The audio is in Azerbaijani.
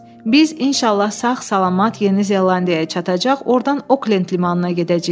Biz inşallah sağ-salamat Yeni Zelandiyaya çatacaq, ordan Oklend limanına gedəcəyik.